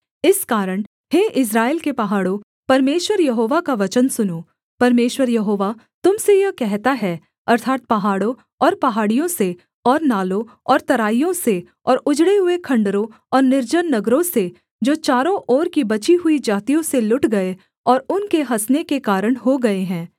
इस कारण हे इस्राएल के पहाड़ों परमेश्वर यहोवा का वचन सुनो परमेश्वर यहोवा तुम से यह कहता है अर्थात् पहाड़ों और पहाड़ियों से और नालों और तराइयों से और उजड़े हुए खण्डहरों और निर्जन नगरों से जो चारों ओर की बची हुई जातियों से लुट गए और उनके हँसने के कारण हो गए हैं